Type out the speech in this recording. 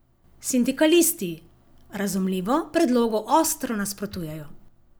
Sindikalisti, razumljivo, predlogu ostro nasprotujejo.